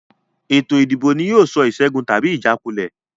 Ìdìbò ni yóò sọ ìṣẹ́gun tàbí ìjákulẹ̀